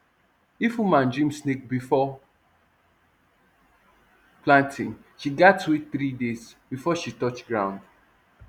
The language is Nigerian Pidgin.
if woman dream snake before planting she gats wait three days before she touch ground